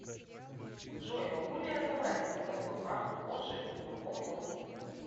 джой могу ли я забрать свою новую карту позже и в другом офисе